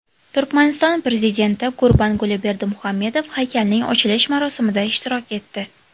Turkmaniston prezidenti Gurbanguli Berdimuhammedov haykalning ochilish marosimida ishtirok etdi.